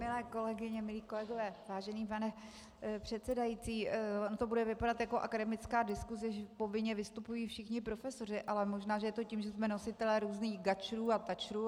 Milé kolegyně, milí kolegové, vážený pane předsedající, ono to bude vypadat jako akademická diskuse, že povinně vystupují všichni profesoři, ale možná, že je to tím, že jsme nositelé různých "gačrů" a "tačrů".